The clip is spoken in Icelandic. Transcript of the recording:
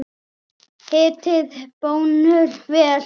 Hitið pönnuna vel.